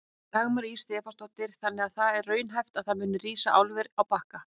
Dagmar Ýr Stefánsdóttir: Þannig að það er raunhæft að það muni rísa álver á Bakka?